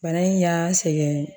Bana in y'an sɛgɛn